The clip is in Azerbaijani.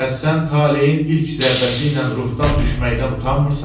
Bəs sən taleyin ilk zərbəsi ilə ruhdan düşməkdən utanmırsanmı?